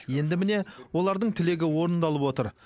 енді міне олардың тілегі орындалып отыр